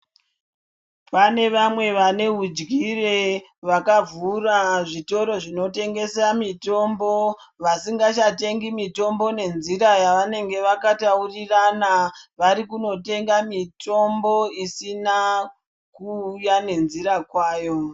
Pane vamwe vane hudyire vaka vhura zvitoro zvino tengesa mitombo vasingacha tengi mitombo ne nzira yavanenge vaka taurirana vari kuno tenga mitombo isina ku uya ne nzira kwayo.